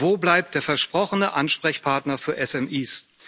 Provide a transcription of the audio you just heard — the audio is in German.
Wo bleibt der versprochene Ansprechpartner für SMIs?